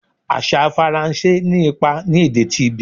Asa Faranse ni ipa ni ede ti Benin